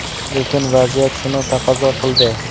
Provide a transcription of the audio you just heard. Lekin vaziyat shuni taqozo qildi.